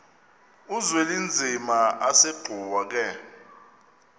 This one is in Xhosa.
uzwelinzima asegcuwa ke